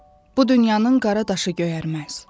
Bu dünyanın qara daşı göyərməz.